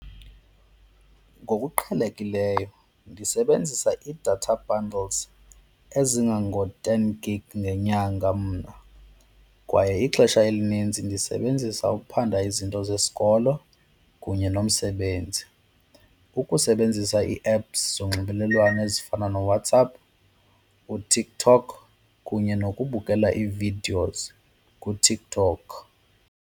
Ngokuqhelekileyo ndisebenzisa i-data bundles ezingango-ten gig ngenyanga mna. Kwaye ixesha elinintsi ndisebenzisa ukuphanda izinto zesikolo kunye nomsebenzi, ukusebenzisa ii-apps zonxibelelwano ezifana noWhatsApp, uTikTok kunye nokubukela ii-videos kuTikTok.